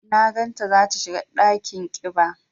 Na gan ta za ta shiga ɗakin ƙiba.